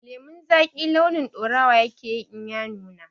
Lemon zaki launin ɗaurawa yake in ya nuna